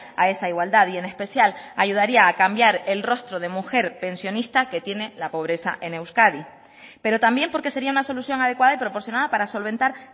a esa igualdad y en especial ayudaría a cambiar el rostro de mujer pensionista que tiene la pobreza en euskadi pero también porque sería una solución adecuada y proporcionada para solventar